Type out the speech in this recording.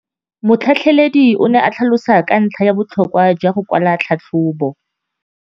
Motlhatlheledi o ne a tlhalosa ka ntlha ya botlhokwa jwa go kwala tlhatlhôbô.